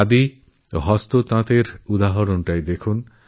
খাদি আর হ্যান্ডলুমের উদাহরণই নিন